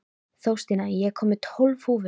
Þórstína, ég kom með tólf húfur!